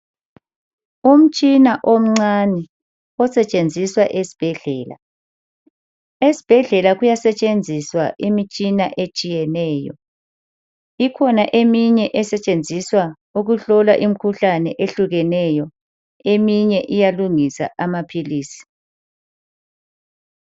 Umtshina omncane osetshenziswa esibhedlela. Esibhedlela kuyasetshenziswa imitshina etshiyeneyo. Ikhona eminye esetshenziswa ukuhlola imkhuhlane ehlukeneyo eminye iyalungisa amaphilisi.